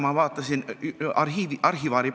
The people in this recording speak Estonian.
Ma olen toimuvat jälginud arhivaarina.